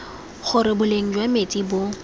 gore boleng jwa metsi bo